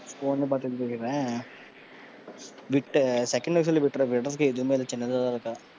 உன் இதை பாத்து எழுதிடரன். விட்ட விடறதுக்கு எதுவுமே இல்லை. சின்னதா தான் இருக்கும்.